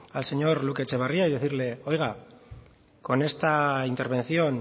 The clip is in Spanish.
al señor y decirle oiga con esta intervención